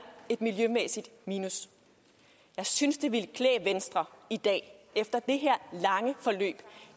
et miljømæssigt minus jeg synes det ville klæde venstre i dag efter det her lange forløb